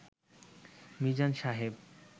Mizan Saheb